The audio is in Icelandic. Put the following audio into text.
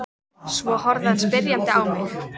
Svo horfði hann spyrjandi á mig.